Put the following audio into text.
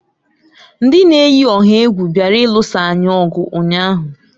Ndị na-eyi ọha egwu bịara ịlụsa anyị ọgụ ụnyaahụ.